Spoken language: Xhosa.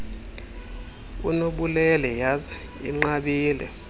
unobubele yhazi inqabile